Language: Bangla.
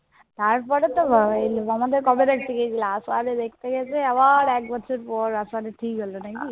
তারপরে তো , আমাকে কবে দেখতে গেছিলা? আষাঢ়ে দেখতে গেছে। আবার একবছর পর আষাঢ়ে ঠিক হল নাকি?